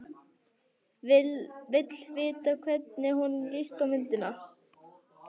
Vill vita hvernig honum lítist á myndina.